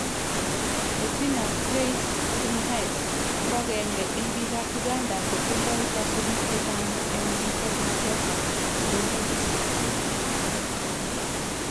Bettina Praise Tumuhaise , ko agenge en biikab Uganda chetindo kasubiik chechang en musoknotetab bororyet